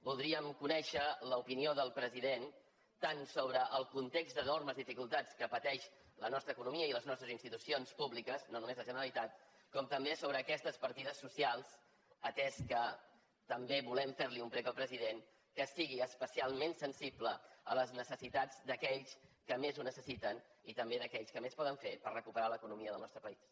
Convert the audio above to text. voldríem conèixer l’opinió del president tant sobre el context d’enormes dificultats que pateixen la nostra economia i les nostres institucions públiques no només la generalitat com també sobre aquestes partides socials atès que també volem fer li un prec al president que sigui especialment sensible a les necessitats d’aquells que més ho necessiten i també d’aquells que més poden fer per recuperar l’economia del nostre país